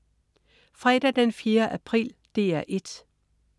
Fredag den 4. april - DR 1: